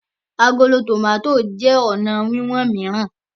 Àgòló tomato jé ọnà wiwọn mìíràn.